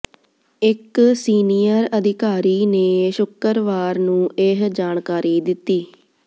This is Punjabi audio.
ਇਕ ਸੀਨੀਅਰ ਅਧਿਕਾਰੀ ਨੇ ਸ਼ੁਕਰਵਾਰ ਨੂੰ ਇਹ ਜਾਣਕਾਰੀ ਦਿਤੀ